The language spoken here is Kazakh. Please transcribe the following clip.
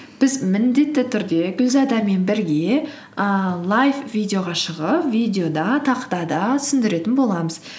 біз міндетті түрде гүлзадамен бірге ііі лайф видеоға шығып видеода тақтада түсіндіретін боламыз